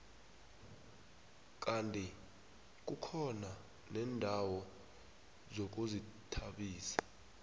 kandi kukhona neendawo zokuzithabisa